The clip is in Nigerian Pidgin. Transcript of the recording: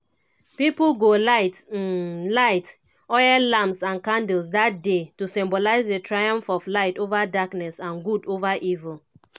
pipo go light um light um oil lamps and candles dat day to symbolise di triumph of light ova darkness and good ova evil.